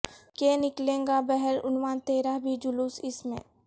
کہ نکلے گابہر عنوان تیرا بھی جلوس اس میں